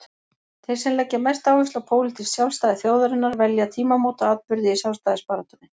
Þeir sem leggja mesta áherslu á pólitískt sjálfstæði þjóðarinnar velja tímamótaatburði í sjálfstæðisbaráttunni.